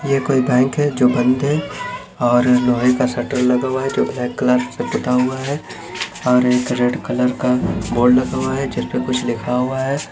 यहाँ कोई बैंक है जो बंद है और लोहे का शटर लगा हुआ है जो ब्लैक कलर से पूता हुआ है और एक रेड कलर का बोर्ड लगा हुआ है जिसपे कुछ लिखा हुआ है।